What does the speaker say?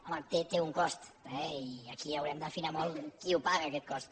home té un cost eh i aquí haurem d’afinar molt qui el paga aquest cost